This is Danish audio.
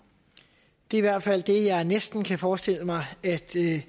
det hvert fald det jeg næsten kan forestille mig at